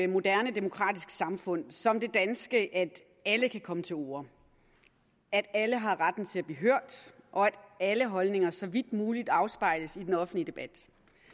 moderne demokratisk samfund som det danske at alle kan komme til orde at alle har retten til at blive hørt og at alle holdninger så vidt muligt afspejles i den offentlige debat